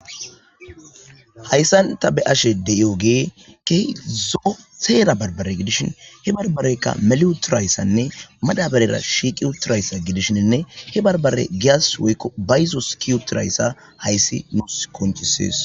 hayssan ta be ashe de7iyogee kehi zo7o seera barbare gidishin he barbareyka mele uturayssanne madaberera shiiqi uturayssa gidishinne he barbare gias woykko bayzo skiutirayssa hayssi nuus konchisees